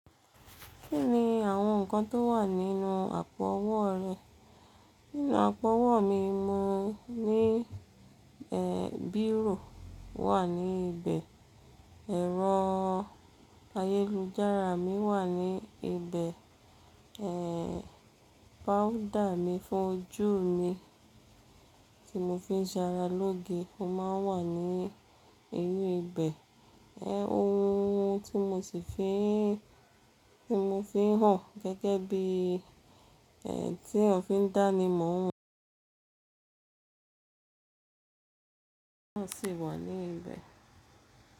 Kí ni àwọn nǹkan tó wà nínú àpò ọwọ́ rẹ? Nínú àpò ọwọ́ mi, mo ní Bíró wà ní ibẹ̀, ẹ̀rọ ayélujára mi wà ní ibẹ̀, powuda mi fún ojú mi tí mo fi ń sara lóge máa ń wà ní inú ibẹ̀, ẹ, ohun tí mo si, tí mo fi ń hàn gẹ́gẹ́ bí, tí èyán fiń dá ni mọ o sì wà ní ibẹ̀